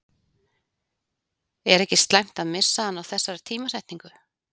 Er ekki slæmt að missa hann á þessari tímasetningu?